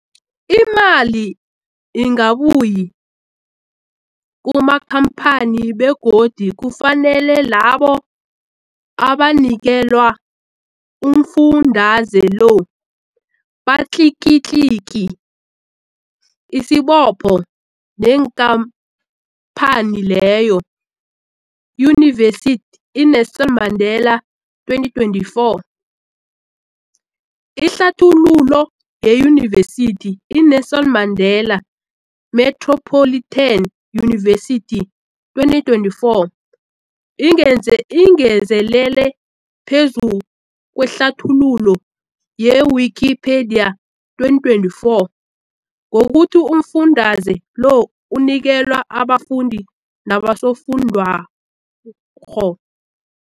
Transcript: Imali ingabuyi kumakhamphani begodu kufanele labo abanikelwa umfundaze lo batlikitliki isibopho neenkhamphani leyo, Yunivesity i-Nelson Mandela 2024. Ihlathululo yeYunivesithi i-Nelson Mandela Metropolitan University, 2024, ingeze ingezelele phezu kwehlathululo ye-Wikipedia, 2024, ngokuthi umfundaze lo unikelwa abafundi nabosofundwakgho.